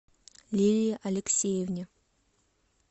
лилии алексеевне